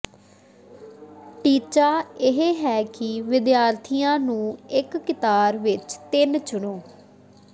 ਟੀਚਾ ਇਹ ਹੈ ਕਿ ਵਿਦਿਆਰਥੀਆਂ ਨੂੰ ਇੱਕ ਕਤਾਰ ਵਿੱਚ ਤਿੰਨ ਚੁਣੋ